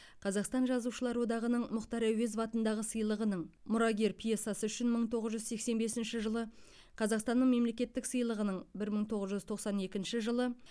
қазақстан жазушылар одағының мұхтар әуезов атындағы сыйлығының мұрагер пьесасы үшін мың тоғыз жүз сексен бесінші қазақстанның мемлекеттік сыйлығының бір мың тоғыз жүз тоқсан екінші жылы